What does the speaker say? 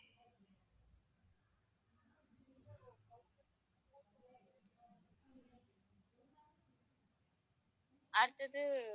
அடுத்தது